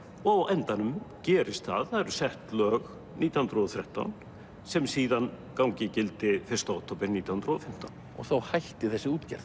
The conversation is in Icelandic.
og á endanum gerist það það eru sett lög nítján hundruð og þrettán sem síðan ganga í gildi fyrsta október nítján hundruð og fimmtán og þá hættir þessi útgerð